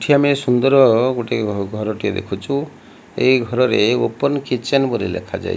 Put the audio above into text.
ଏଠି ଆମେ ସୁନ୍ଦର୍ ଗୋଟେ ଘର ଟିଏ ଦେଖୁଛୁ ଏହି ଘରରେ ଓପନ୍ କିଚେନ୍ ବୋଲି ଲେଖା ଯାଇ --